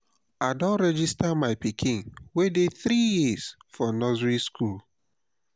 i don register my pikin wey dey three years for nursery school.